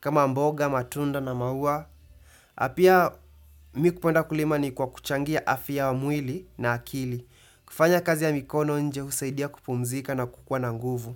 kama mboga, matunda na maua. Pia mimi kupenda kulima ni kwa kuchangia afya ya mwili na akili. Kufanya kazi ya mikono nje husaidia kupumzika na kukuwa na nguvu.